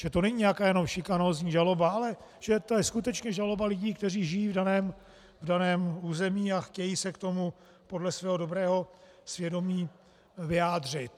Že to není nějaká jenom šikanózní žaloba, ale že to je skutečně žaloba lidí, kteří žijí v daném území a chtějí se k tomu podle svého dobrého svědomí vyjádřit.